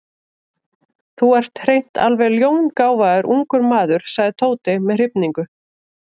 Þú ert hreint alveg ljóngáfaður ungur maður sagði Tóti með hrifningu.